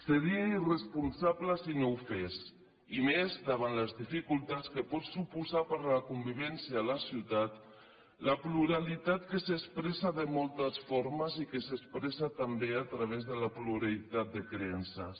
seria irresponsable si no ho fes i més davant les dificultats que pot suposar per a la convivència a la ciutat la pluralitat que s’expressa de moltes formes i que s’expressa també a través de la pluralitat de creences